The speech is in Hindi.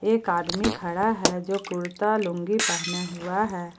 एक आदमी खड़ा है जो कुर्ता लूंगी पहने हुआ है।